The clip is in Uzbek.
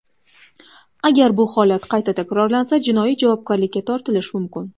Agar bu holat qayta takrorlansa, jinoiy javobgarlikka tortilish mumkin.